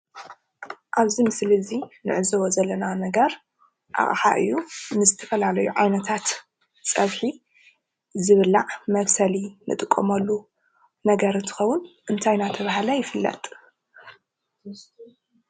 ኣብዚ ምስሊ እዚ እንዕዘቦ ዘለና ነገር ኣቕሓ እዩ። ንዝተፈላለዩ ዓይነታት ፀብሒ ዝብላዕ መብሰሊ እንጥቀመሉ ነገር እንትኸዉን እንታይ እናተብሃለ ይፍለጥ?